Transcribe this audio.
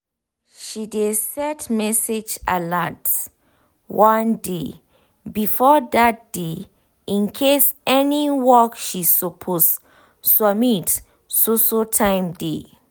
she dey set message alert one day before dat day incase any work she suppose submit so so time dey